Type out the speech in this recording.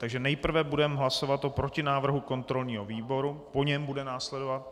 Takže nejprve budeme hlasovat o protinávrhu kontrolního výboru, po něm bude následovat...